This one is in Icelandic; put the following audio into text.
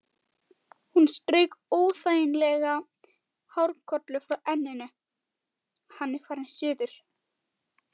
Hún strauk óþægan hárlokk frá enninu: Hann er farinn suður